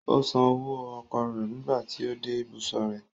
Ó san owó ọkọ̀ rẹ̀ nígbà tí ó dé ìbùsọ̀ rẹ̀.